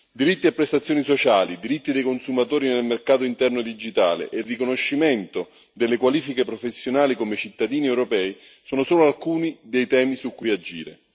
Diritti e prestazioni sociali, diritti dei consumatori nel mercato interno digitale e riconoscimento delle qualifiche professionali come cittadini europei sono solo alcuni dei temi su cui agire.